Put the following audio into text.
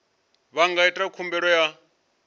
vha nga ita khumbelo ya